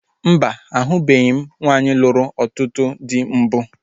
Mba, ahụbeghi m nwaanyị lụrụ ọtụtụ dị mbụ